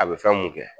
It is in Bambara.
A bɛ fɛn mun kɛ